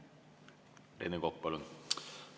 Rene Kokk, palun!